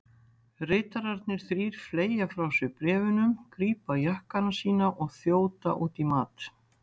Ritararnir þrír fleygja frá sér bréfunum, grípa jakkana sína og þjóta út í mat.